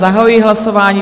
Zahajuji hlasování.